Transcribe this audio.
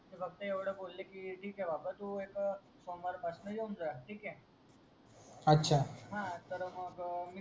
ते फक्त एवढे बोले कि ठीक हे बाबा तू एक सोमवार पासून येऊन जा ठीक हे अच्छा तर मग मी